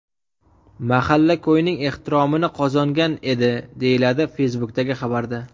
Mahalla-ko‘yning ehtiromini qozongan edi”, deyiladi Facebook’dagi xabarda.